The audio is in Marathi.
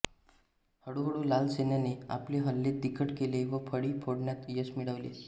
हळूहळू लाल सैन्याने आपले हल्ले तिखट केले व फळी फोडण्यात यश मिळवले